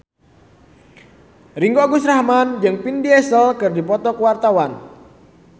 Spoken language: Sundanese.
Ringgo Agus Rahman jeung Vin Diesel keur dipoto ku wartawan